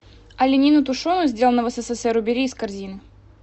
оленину тушеную сделано в ссср убери из корзины